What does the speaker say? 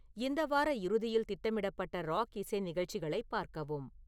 இந்த வார இறுதியில் திட்டமிடப்பட்ட ராக் இசை நிகழ்ச்சிகளைப் பார்க்கவும்